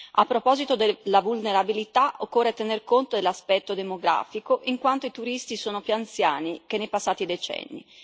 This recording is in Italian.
A proposito della vulnerabilità, occorre tener conto dell'aspetto demografico, in quanto i turisti sono più anziani che nei passati decenni.